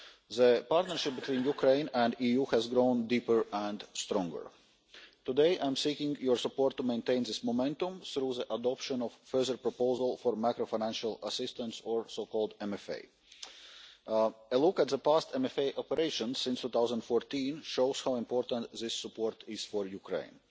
The partnership between Ukraine and the EU has grown deeper and stronger. Today I am seeking your support to maintain this momentum through the adoption of a further proposal for macro financial assistance A look at the past MFA operation from 2014 shows how important this support is for Ukraine.